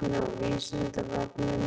Meira efni á Vísindavefnum: